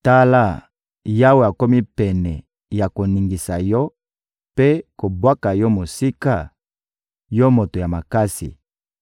Tala, Yawe akomi pene ya koningisa yo mpe kobwaka yo mosika, yo moto ya makasi!